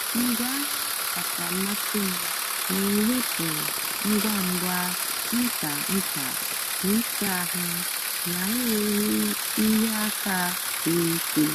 ngwaahịa ọkacha mmasị m na-ewepụ ngwa ngwa ncha ncha na ịsa ahụ na-enweghị ịhịa aka siri ike.